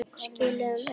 Skilum auðu.